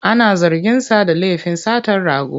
Ana zarginsa da lafin satar rago.